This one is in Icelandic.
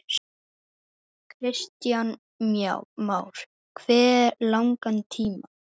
Kristján Már: Hve langan tíma?